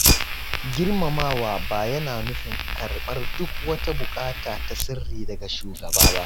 Girmamawa ba yana nufin karɓar duk wata bukata ta sirri daga shugaba ba.